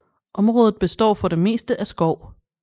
Området består for det meste af skov